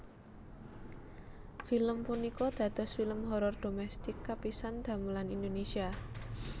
Film punika dados film horor dhomestik kapisan damelan Indonesia